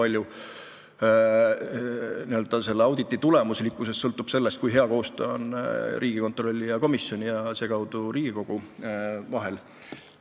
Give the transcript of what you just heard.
Minu arvates sõltub selle auditi tulemuslikkus paljus sellest, kui hea koostöö on Riigikontrolli ja teie komisjoni ja seekaudu kogu Riigikogu vahel.